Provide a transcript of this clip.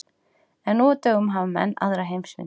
En nú á dögum hafa menn aðra heimsmynd.